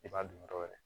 I b'a dun dɔrɔn